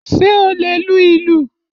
Ṣé o lè lu ìlù?